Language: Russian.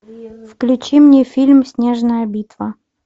включи мне фильм снежная битва